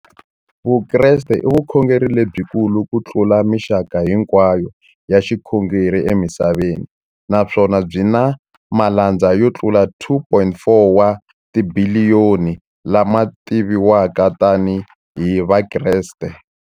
Vukreste i vukhongeri lebyi kulu kutlula mixaka hinkwayo ya vukhongeri emisaveni, naswona byi na malandza yo tlula 2.4 wa tibiliyoni, la ma tiviwaka tani hi Vakreste.